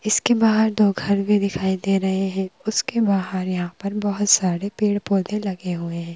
इसके बाहर दो घर भी दिखाई दे रहे हैं उसके बाहर यहाँ पर बहुत सारे पेड़-पौधे लगे हुए हैं।